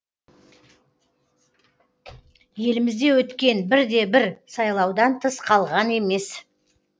елімізде өткен бірде бір сайлаудан тыс қалған емес